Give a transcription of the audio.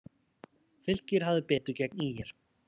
Fylkir hafði betur gegn ÍR